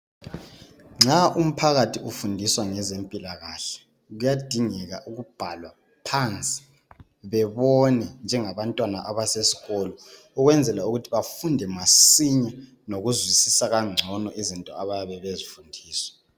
nxa umphakathi ufundiswa ngezempilakahle kuyadingeka ukubhalwa phansi bebone njengabanwana abasesikolo ukwenzela ukuthi bafunde masinya lokuzwissa kangcono izinto abayabe bezifundiswa